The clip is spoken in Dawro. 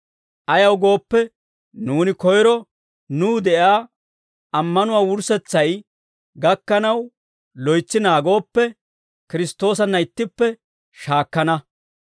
Ayaw gooppe, nuuni koyro nuw de'iyaa ammanuwaa wurssetsay gakkanaw loytsi naagooppe, Kiristtoosanna ittippe shaakkana.